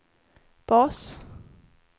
bas